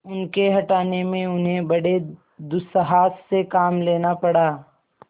उनके हटाने में उन्हें बड़े दुस्साहस से काम लेना पड़ा